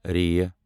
ر